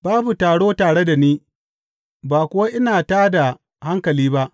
Babu taro tare da ni, ba kuwa ina tā da hankali ba.